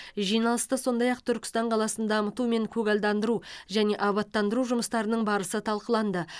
жиналыста сондай ақ түркістан қаласын дамыту мен көгалдандыру және абаттандыру жұмыстарының барысы талқыланды